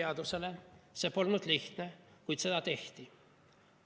See polnud lihtne, kuid seda tehti.